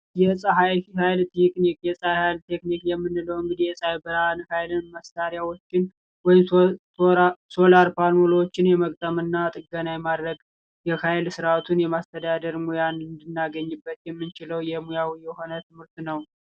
የፀሐይ ፋይል ቴኪክ የፀሐይ ፋይል ቴኪክ የምንለው የሚያሳይ ብርሃን ሃይልን መሣሪያዎችን ቆይቶ ሶላር ፓኖሎችን የመግጠምና ጥገና የማድረግ የኃይል ስርአቱን የማስተዳደር ሙያ እንድናገኝበት የምንችለው የሙያውን የሆነ ትምህርት ነው።